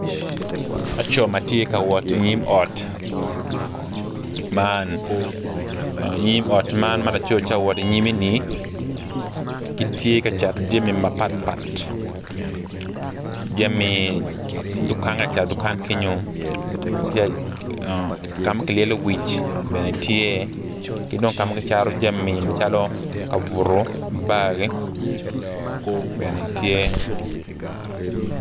Laco ma tye ka wot i nyim ot man nyim ot man malaco tye ka wot i nyimme ni kitye ka cato jami mapatpat jami duka ka ma kilyelo iye wic ki bar bene tye.